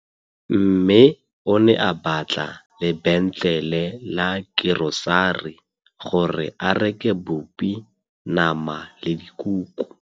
Mmê o ne a batla lebêntlêlê la kerosari gore a reke bupi, nama le dikuku.